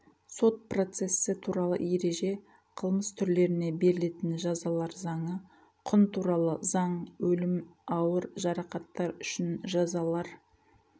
сот процессі туралы ереже қылмыс түрлеріне берілетін жазалар заңы құн туралы заң өлім ауыр жарақаттар үшін жазалар